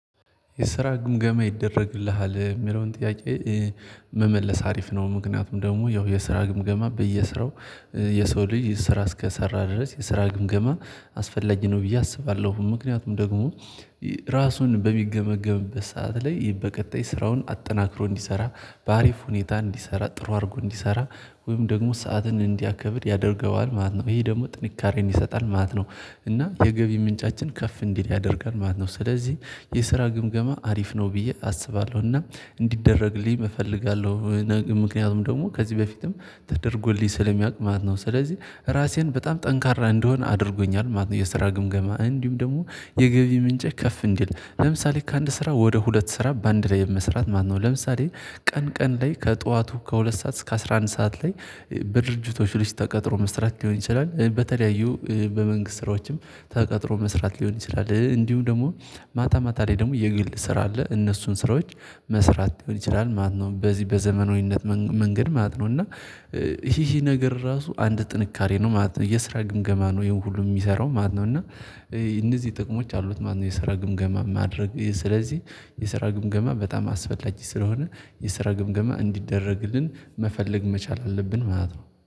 የስራ ግምገማ ይደረግልሃል የሚለውን ጥያቄ መመለስ አሪፍ ነው። ምክንያቱም ደግሞ ያው የስራ ግምገማ በየስራው የሰው ልጅ ስራ እስከሰራ ድረስ የስራ ግምገማ አስፈላጊ ነው ብዬ አስባለሁ። ምክንያቱም ደግሞ ራሱን በሚገመገምበት ሰዓት ላይ በቀጣይ ስራውን አጠናክሮ እንዲሰራ በአሪፍ ሁኔታ እንዲሰራ ጥሩ አድርጎ እንዲሰራ ወይም ደግሞ ሰዓትን እንዲያከብር ያደርገዋል ማለት ነው። ይሄ ደግሞ ጥንካሬን ይሰጣል ማለት ነው። እና የገቢ ምንጫችን ከፍ እንዲል ያደርጋል ማለት ነው። ስለዚህ የስራ ግምገማ አሪፍ ነው ብዬ አስባለሁ። እና እንዲደረግልኝ እፈልጋለሁ። ምክንያቱም ደግሞ ከዚህ በፊትም ተደርጎልኝ ስለሚያውቅ ማለት ነው። ስለዚህ ራሴን በጣም ጠንካራ እንደሆነ አድርጎኛል ማለት ነው። የስራ ግምገማ እንዲሁም ደግሞ የገቢ ምንጨ ከፍ እንዲል ለምሳሌ ከአንድ ስራ ወደ ሁለት ስራ በአንድ ላይ የመስራት ማለት ነው። ለምሳሌ ቀን ቀን ላይ ከጠዋቱ ከሁለት ሰዓት እስከ አስራ አንድ ሰዓት ላይ በድርጅቶች ውስጥ ተቀጥሮ መስራት ሊሆን ይችላል። በተለያዩ በመንግስት ስራዎችም ተቀጥሮ መስራት ሊሆን ይችላል። እንዲሁም ደግሞ ማታ ማታ ላይ ደግሞ የግል ስራ አለ እነሱን ስራዎች መስራት ሊሆን ይችላል ማለት ነው። በዚህ በዘመናዊነት መንገድ ማለት ነው። እና ይሄ ነገር ራሱ አንድ ጥንካሬ ነው ማለት ነው። የስራ ግምገማ ነው ይሄን ሁሉ የሚሰራው ማለት ነው። እና እነዚህ ጥቅሞች አሉት። ማነው የስራ ግምገማ? ማድረግ ስለዚህ የስራ ግምገማ በጣም አስፈላጊ ስለሆነ የስራ ግምገማ እንዲደረግልን መፈለግ መቻል አለብን ማለት ነው